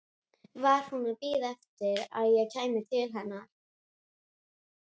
Flest efnahvörf í lifandi frumu eru hvötuð af ensímum.